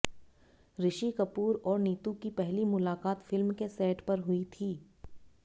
ऋषि कपूर और नीतू की पहली मुलाकात फिल्म के सेट पर हुई थी